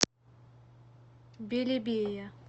белебея